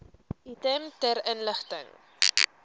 item ter inligting